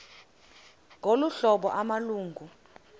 ngolu hlobo amalungu